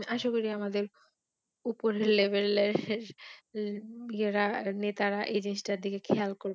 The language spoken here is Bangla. আশা করি আমাদের ওপরের Level এর নেতারা এই জিনিসটার দিকেখেয়াল করবে